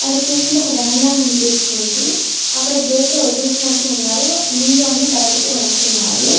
అటు చుస్తుంటే ఒక డాం లాగా అనిపిస్తోంది. అక్కడ గెట్లు వదిలేసినట్టుగా ఉన్నారు. నీళ్ళు అన్నీ బయటకి వస్తున్నాయి.